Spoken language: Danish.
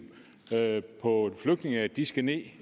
på flygtninge at de skal ned